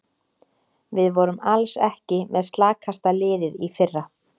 Við vorum alls ekki með slakasta liðið í fyrra.